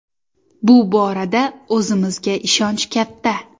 Bu borada o‘zimizga ishonch katta.